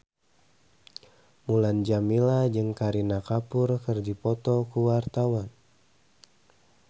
Mulan Jameela jeung Kareena Kapoor keur dipoto ku wartawan